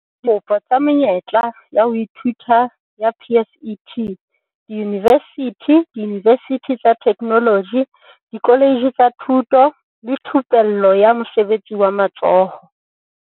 Dikopo tsa menyetla ya ho ithuta ya PSET diyunivesithi, diyunivesithi tsa Theknoloji, dikoletje tsa Thuto le Thupello ya Mosebetsi wa Matsoho.